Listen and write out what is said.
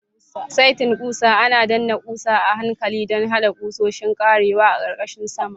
Saitin ƙusa ana danna ƙusa a hankali don haɗa ƙusoshin ƙarewa a ƙarƙashin saman.